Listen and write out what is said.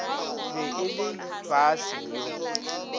be e le baase yo